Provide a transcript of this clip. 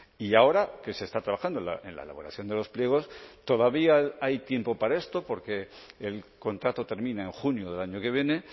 y ahora que se está trabajando en la elaboración de los pliegos todavía hay tiempo para esto porque el contrato termina en junio del año que viene